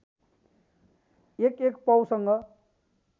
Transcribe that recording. एक एक पाउसँग